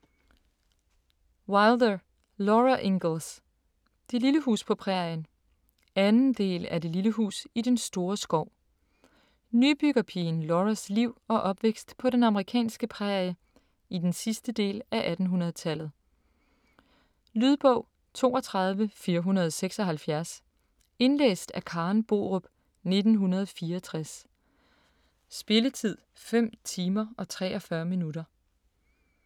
Wilder, Laura Ingalls: Det lille hus på prærien 2. del af Det lille hus i den store skov. Nybyggerpigen Lauras liv og opvækst på den amerikanske prærie i den sidste del af 1800-tallet. Lydbog 32476 Indlæst af Karen Borup, 1964. Spilletid: 5 timer, 43 minutter.